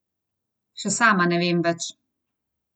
Še sama ne vem več.